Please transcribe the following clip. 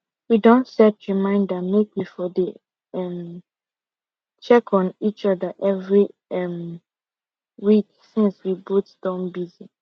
we don set reminder make we for dey um check on each other every um week since we both don busy